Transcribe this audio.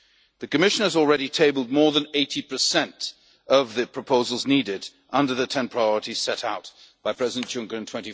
elections. The Commission has already tabled more than 80 of the proposals needed under the 10 priorities set out by President Juncker